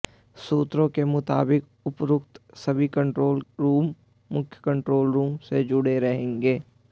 सूत्रों के मुताबिक उपरोक्त सभी कंट्रोल रूम मुख्य कंट्रोल रूम से जुड़े रहेंगे